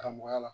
Karamɔgɔya la